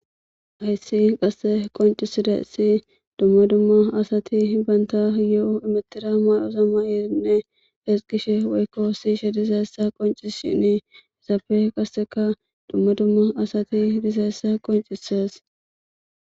Heyssi qasse qonciside si dumma dumma asati banta yo'o imetira madosamma erinne hes gishe weykko siishe dizeessa qonci shini isaafe qasseka dumma dumma asati dizeessa qoncisees.